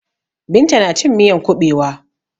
Binta na cin miyan kuɓewa.